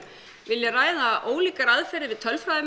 vilja ræða ólíkar aðferðir við